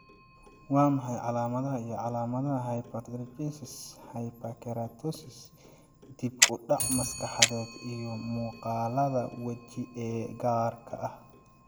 Waa maxay calaamadaha iyo calaamadaha hypertrichosis, hyperkeratosis, dib u dhac maskaxeed, iyo muuqaalada waji ee gaarka ah?